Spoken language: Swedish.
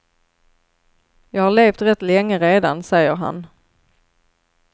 Jag har levt rätt länge redan, säger han.